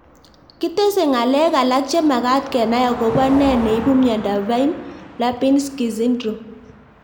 kitesei ng'alek alak che magat kenai akopo nee neipu miondop Fine Lubinsky syndrome